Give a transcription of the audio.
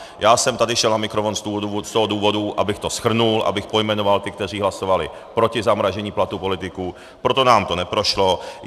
Já jsem tady šel na mikrofon z toho důvodu, abych to shrnul, abych pojmenoval ty, kteří hlasovali proti zamražení platů politiků, proto nám to neprošlo.